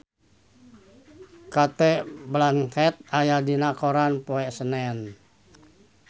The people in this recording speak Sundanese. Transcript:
Cate Blanchett aya dina koran poe Senen